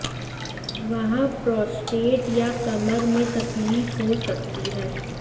वहाँ प्रोस्टेट या कमर में तकलीफ हो सकती है